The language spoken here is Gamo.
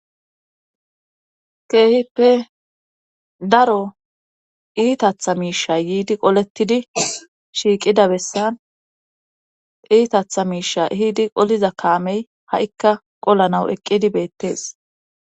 Keehippe daro iitatha miisha yiidi qolettidi shiiqida bessan iitatha miisha yiidi qoliza kaamey ha'ikka qollanaw eqqidi beettees